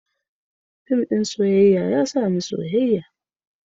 Fim ɗin soyayya ya sa ni soyayya.